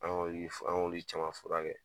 An k'olu an k'olu caman furakɛ